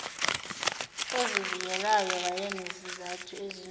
ozivikelayo wayenezizathu ezinzulu